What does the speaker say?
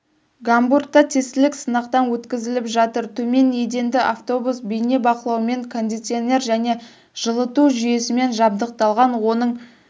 гамбургда тестілік сынақтан өткізіліп жатыр төмен еденді автобус бейнебақылаумен кондиционер және жылыту жүйесімен жабдықталған оның